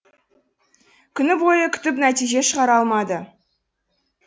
күні бойы күтіп нәтиже шығара алмады